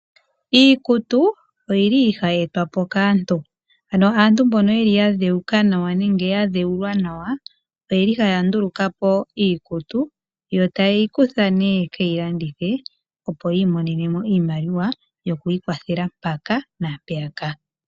Iikutu oyili hayi ndulukwa po kaantu .Ano aantu mboka yadhewuka nawa nenge yadhewulwa Nawa ohayanduluka po iikutu .Ohaye yi kutha nee yekeyi landithe opo yimone mo iimaliwa yokwiikwathela mpaaka na peyaka.